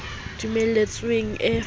e dumeletsweng e fapane le